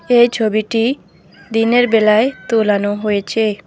এই ছবিটি দিনের বেলায় তুলানো হয়েছে।